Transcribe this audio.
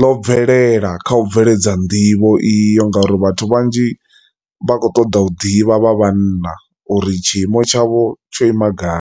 ḽo bvelela kha u bveledza nḓivho iyo ngauri vhathu vhanzhi vha khou ṱoḓa u ḓivha vha vhanna uri tshiimo tshavho tsho ima gai.